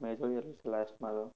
માં તો